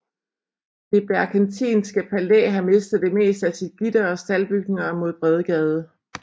Det Berckentinske Palæ har mistet det meste af sit gitter og staldbygninger mod Bredgade